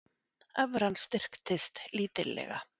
Evran styrkist lítillega